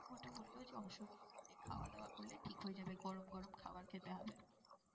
ওটা বলল যে অসুবিধা নেই, খাওয়া দাওয়া করলে ঠিক হয়ে যাবে। গরম গরম খাবার খেতে হবে।